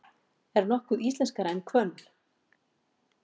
Er nokkuð íslenskara en hvönn?